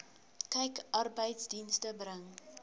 kyk arbeidsdienste bring